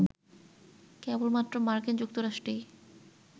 কেবলমাত্র মার্কিন যুক্তরাষ্ট্রেই